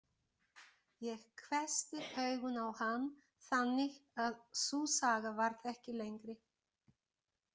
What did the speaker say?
Ég hvessti augun á hann þannig að sú saga varð ekki lengri.